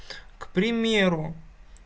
к примеру